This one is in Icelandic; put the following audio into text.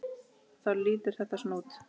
Þá lítur þetta svona út